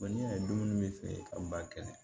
n'i y'a don dumuni bɛ feere ka ba kelen